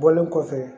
Bɔlen kɔfɛ